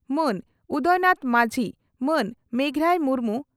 ᱢᱟᱹᱱ ᱩᱫᱚᱭᱱᱟᱛᱷ ᱢᱟᱹᱡᱷᱤ ᱢᱟᱹᱱ ᱢᱮᱜᱷᱨᱟᱭ ᱢᱩᱨᱢᱩ